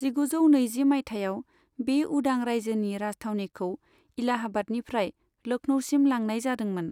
जिगुजौ नैजि माइथायाव, बे उदां रायजोनि राजथावनिखौ इलाहाबादनिफ्राय लखनऊसिम लांनाय जादोंमोन।